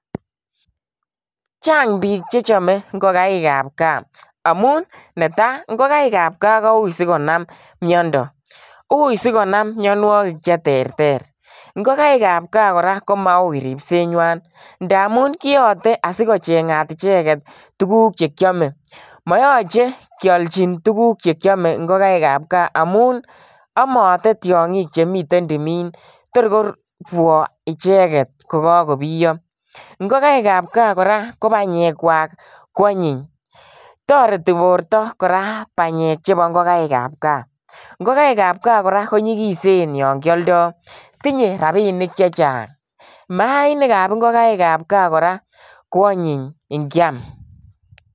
Chang biik chechome ngokaikab gaa, amun netaa ngokaikab gaa koui sikonam miondo, uii sikonam mionwokik cheterter, ngokaikab gaa kora komaui ribsenywan amun kiyote asikochengat icheket tukuk chekiome, moyoche kiolchi tukuk chkiome ngokaikab gaa amun omote tiongik chemiten timin tor korwo icheket ko kokobiyo, ngokaikab gaa kora ko banyekwak ko anyiny, toreti borto kora banyek chebo ngokaikab kaa, ngokaikab kaa kora konyikisen yoon kioldo, tinye rabinik chechang, mainikab ngokaikab kaa kora ko anyiny ngiam.